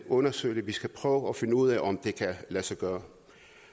undersøge det vi skal prøve at finde ud af om det kan lade sig gøre